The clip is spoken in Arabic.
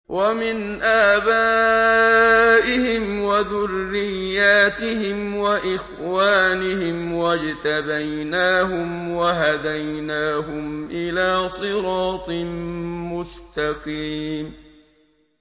وَمِنْ آبَائِهِمْ وَذُرِّيَّاتِهِمْ وَإِخْوَانِهِمْ ۖ وَاجْتَبَيْنَاهُمْ وَهَدَيْنَاهُمْ إِلَىٰ صِرَاطٍ مُّسْتَقِيمٍ